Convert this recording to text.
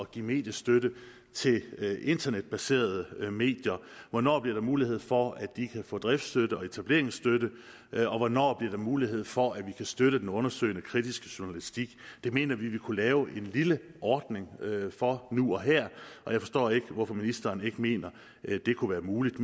give mediestøtte til internetbaserede medier hvornår der bliver mulighed for at de kan få driftsstøtte og etableringsstøtte og hvornår der bliver mulighed for at vi kan støtte den undersøgende kritiske journalistik vi mener at vi ville kunne lave en lille ordning for nu og her og jeg forstår ikke hvorfor ministeren ikke mener at det kunne være muligt